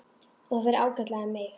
Og það fer ágætlega um mig.